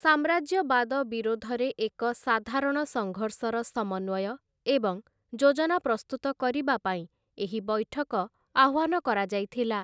ସାମ୍ରାଜ୍ୟବାଦ ବିରୋଧରେ ଏକ ସାଧାରଣ ସଙ୍ଘର୍ଷର ସମନ୍ୱୟ ଏବଂ ଯୋଜନା ପ୍ରସ୍ତୁତ କରିବା ପାଇଁ ଏହି ବୈଠକ ଆହ୍ୱାନ କରାଯାଇଥିଲା ।